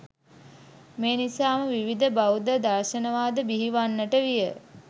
මේ නිසාම විවිධ බෞද්ධ දර්ශන වාද බිහිවන්නට විය.